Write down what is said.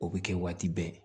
O bɛ kɛ waati bɛɛ